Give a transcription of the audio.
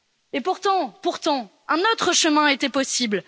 Et pourtant, un autre chemin était possible.